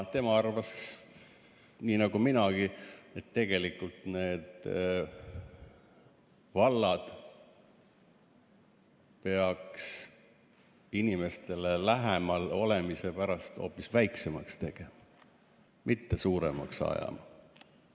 Tema arvas nii nagu minagi, et tegelikult vallad peaks inimestele lähemal olemise jaoks hoopis väiksemaks tegema, mitte neid suuremaks ajama.